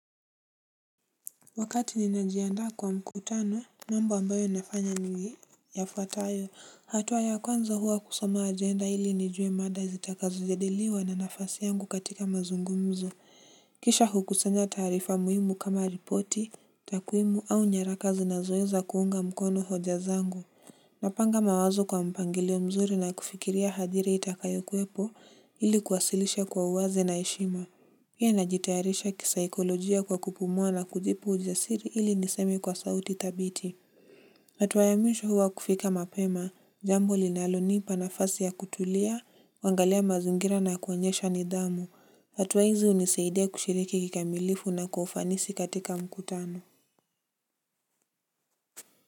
Wakati ninajiandaa kwa mkutano mambo ambayo nafanya ni yafuatayo hatua ya kwanza huwa kusoma ajenda ili nijue mada zitakazojadiliwa na nafasi yangu katika mazungumzo kisha hukusanya taarifa muhimu kama ripoti takwimu au nyaraka zinazoeza kuunga mkono hoja zangu. Napanga mawazo kwa mpangilio mzuri na kufikiria hadhira itakayokuwepo ili kuwasilisha kwa uwazi na heshima. Pia najitayarisha kisaikolojia kwa kupumua na kujipa ujasiri ili niseme kwa sauti thabiti. Hatua ya mwisho huwa kufika mapema, jambo linalonipa nafasi ya kutulia, kuangalia mazingira na kuonyesha nidhamu. Hatua hizi hunisaidia kushiriki kikamilifu na kwa ufanisi katika mkutano.